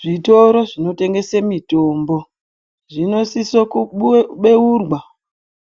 Zvitoro zvinotengese mitombo zvinosise kubeurwa